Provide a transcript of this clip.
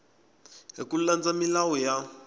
hi ku landza milawu ya